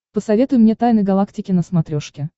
посоветуй мне тайны галактики на смотрешке